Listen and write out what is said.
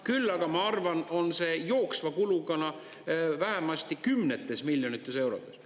Küll aga ma arvan, on see jooksva kuluna vähemasti kümnetes miljonites eurodes.